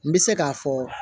N bɛ se k'a fɔ